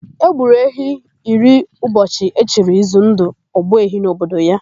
E gburu ehi iri ụbọchị e chiri Izundụ, Ogbuehi n'obodo ya.